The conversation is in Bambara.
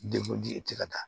i tɛ ka taa